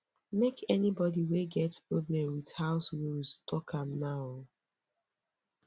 make anybody wey get problem wit house rules tok am now o